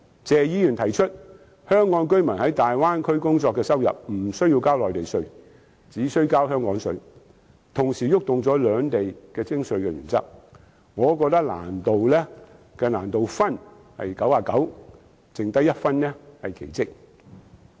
謝議員提出香港居民在大灣區工作的收入無須繳交內地稅，只需交香港稅，同時觸碰到兩地的徵稅原則，我覺得落實建議的難度是99分，餘下1分是奇蹟。